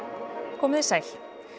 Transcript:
komið þið sæl